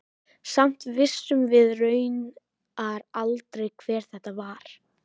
Samt vissum við raunar aldrei hver þetta var.